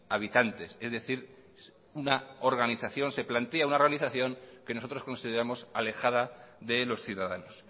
habitantes es decir se plantea una organización que nosotros consideramos alejada de los ciudadanos